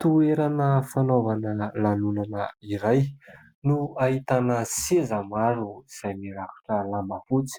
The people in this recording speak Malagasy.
Toerana fanaovana lanonana iray no ahitana seza maro izay mirakotra lamba fotsy.